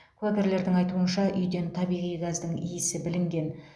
куәгерлердің айтуынша үйден табиғи газдың иісі білінген